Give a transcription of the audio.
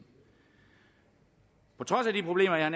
på trods af de problemer jeg